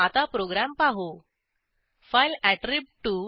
आता प्रोग्रॅम पाहू